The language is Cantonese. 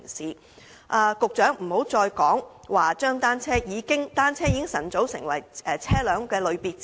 請局長不要再指單車早已成為車輛的類別之一。